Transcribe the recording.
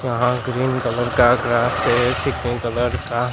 यहां green colour का grass से कलर का--